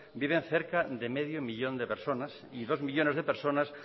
viven cerca de medio millón de personas y dos millónes de personas